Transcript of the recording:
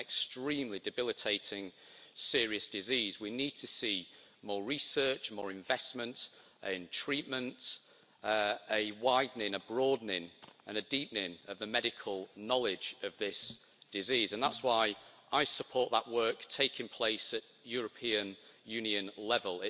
This is an extremely debilitating, serious disease. We need to see more research, more investment in treatments, a broadening and a deepening of the medical knowledge of this disease, and that is why I support that work taking place at European Union level.